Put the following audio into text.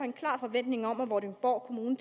en klar forventning om at vordingborg kommune